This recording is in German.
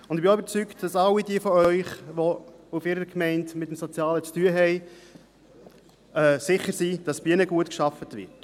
Ich bin auch überzeugt, dass all jene von Ihnen, die in ihren Gemeinden mit dem Sozialen zu tun haben, sicher sind, dass bei ihnen gut gearbeitet wird.